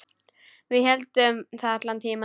Við héldum það allan tímann.